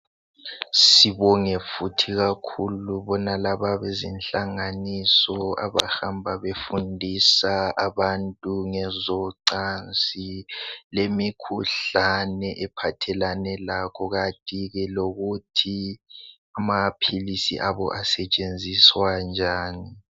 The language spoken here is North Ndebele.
Sibonge futhi ikakhulu bonalaba abezinhlanganiso abahamba befundisa abantu ngezocansi lemikhuhlane ephathelane lakho kanti ke lokuthi amaphilisi abo asetshenziswa njani.